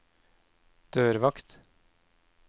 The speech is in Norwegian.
dørvakt